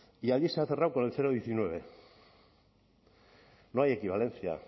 y allí se ha cerrado con el cero coma diecinueve no hay equivalencia